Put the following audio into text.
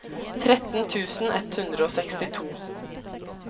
tretten tusen ett hundre og sekstito